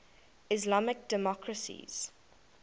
islamic democracies